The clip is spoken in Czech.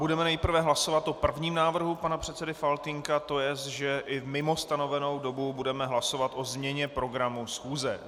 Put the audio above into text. Budeme nejprve hlasovat o prvním návrhu pana předsedy Faltýnka, to jest, že i mimo stanovenou dobu budeme hlasovat o změně programu schůze.